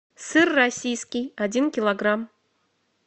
сыр российский один килограмм